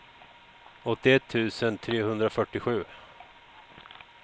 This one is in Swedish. åttioett tusen trehundrafyrtiosju